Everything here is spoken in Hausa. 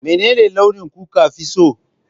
Menene launi kuka fi so?